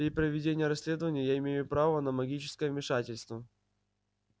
при проведении расследования я имею право на магическое вмешательство